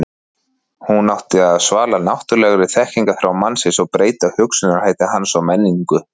hún átti að svala náttúrulegri þekkingarþrá mannsins og breyta hugsunarhætti hans og menningu